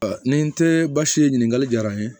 ni n te baasi ye ɲininkali jara n ye